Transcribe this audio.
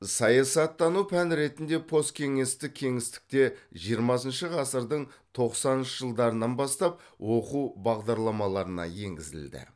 саясаттану пән ретінде посткеңестік кеңістікте жиырмасыншы ғасырдың тоқсаныншы жылдарынан бастап оқу бағдарламаларына енгізілді